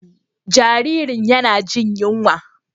Jaririn yana jin yunwa.